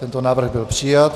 Tento návrh byl přijat.